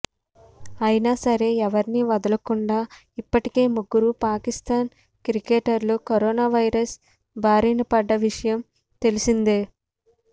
అయినా సరే ఎవరినీ వదలకుండా ఇప్పటికే ముగ్గురు పాకిస్తాన్ క్రికెటర్లు కరోనా వైరస్ బారినపడ్డ విషయం తెలిసిందే